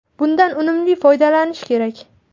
Bundan unumli foydalanish kerak.